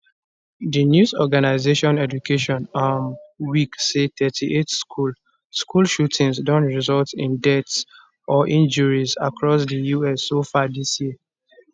di news organisation education um week say 38 school school shootings don result in deaths or injuries across di us so far dis year